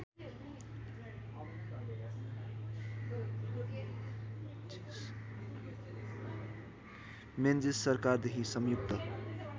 Menzies सरकारदेखि संयुक्त